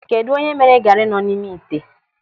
Kedụ onye mere gari nọ n'ime ite?